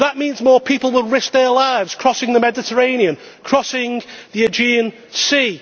That means more people will risk their lives crossing the Mediterranean, crossing the Aegean Sea.